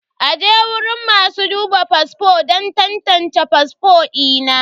aje guriun masu duba fasfo don tantance fasfo ina.